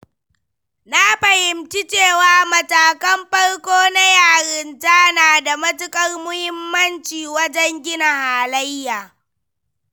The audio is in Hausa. Na fahimci cewa matakan farko na yarinta na da matuƙar muhimmanci wajen gina halayya.